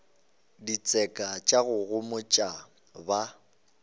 ditseka tša go homotša ba